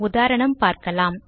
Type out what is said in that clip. உதாரணம் பார்க்கலாம்